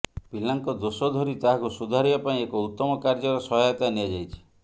ପିଲାଙ୍କ ଦୋଷ ଧରି ତାହାକୁ ସୁଧାରିବା ପାଇଁ ଏକ ଉତ୍ତମ କାର୍ଯ୍ୟର ସହାୟତା ନିଆଯାଇଛି